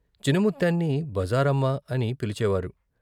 చినముత్తెన్ని బజారమ్మా అని పిలిచేవారు.